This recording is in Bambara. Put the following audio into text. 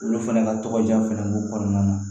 Olu fɛnɛ ka tɔgɔja fɛnɛ b'u kɔnɔna na